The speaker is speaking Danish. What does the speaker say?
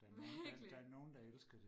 virkelig